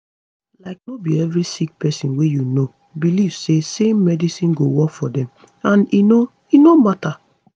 like no be every sick pesin wey you know belief say same medicine go work for dem and e no e no matter